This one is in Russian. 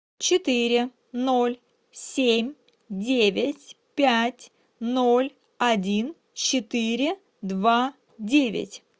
четыре ноль семь девять пять ноль один четыре два девять